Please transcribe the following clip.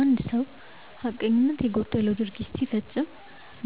አንድ ሰው ሀቀኝነት የጎደለው ድርጊት ሲፈጽም